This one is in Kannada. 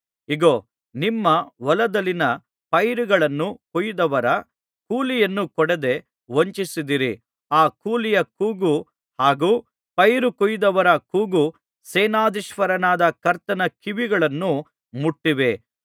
ಇಗೋ ನಿಮ್ಮ ಹೊಲದಲ್ಲಿನ ಪೈರುಗಳನ್ನು ಕೊಯ್ದದವರ ಕೂಲಿಯನ್ನು ಕೊಡದೆ ವಂಚಿಸಿದಿರಿ ಆ ಕೂಲಿಯ ಕೂಗು ಹಾಗು ಪೈರು ಕೊಯ್ದದವರ ಕೂಗು ಸೇನಾಧೀಶ್ವರನಾದ ಕರ್ತನ ಕಿವಿಗಳನ್ನು ಮುಟ್ಟಿವೆ